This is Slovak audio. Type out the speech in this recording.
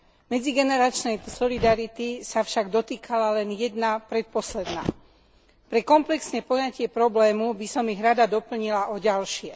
Medzigeneračnej solidarity sa však dotýkala len jedna, predposledná. Pre komplexné poňatie problému by som ich rada doplnila o ďalšie.